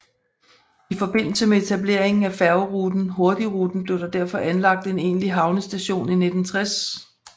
I forbindelse med etableringen af færgeruten Hurtigruten blev der derfor anlagt en egentlig havnestation i 1960